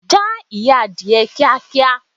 Já ìyẹ́ Adìyẹ kíá kíá.